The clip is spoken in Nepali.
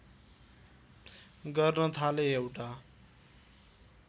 गर्न थाले एउटा